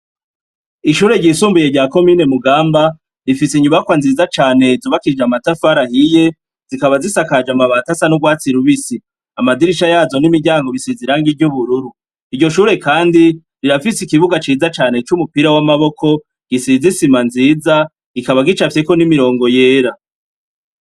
Ishure ryisumbuye rya komine mugamba rifise inyubakwa nziza cane zubakije amatafarahiye zikaba zisakaje amabati asa n'urwatsi i rubisi, amadirisha yazo n'imiryango bisiziranga iryo ubururu iryo shure kandi rirafise ikibuga ciza cane c'umupira w'amaboko gisizisima nziza gikaba gicavyeko n'imirongo yera.